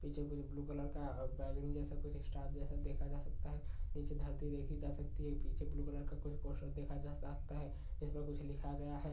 पीछे कुछ blue colour का बेंगन जैसा देखा जा सकता है नीचे धरती देखी जा सकती है पीछे ब्लू कलर का कुछ पोस्टर देखा जा सकता है जिसपे कुछ लिखा गया है।